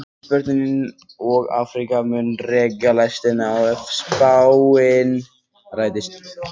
Ísbjörninn og Afríka munu reka lestina ef spáin rætist.